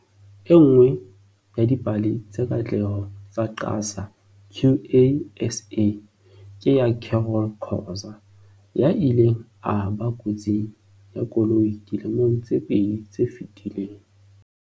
E nngwe ya dipale tsa katleho tsa QASA ke ya Carol Khoza, ya ileng a ba kotsing ya koloi dilemong tse pedi tse fetileng.